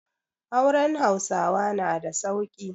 Auren Hausawa na da sauƙi.